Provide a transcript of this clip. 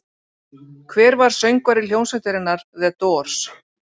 Hver var söngvari hljómsveitarinnar The Doors?